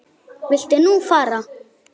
Viltu nú fara!